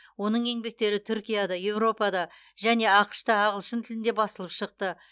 оның еңбектері түркияда еуропада және ақш та ағылшын тілінде басылып шықты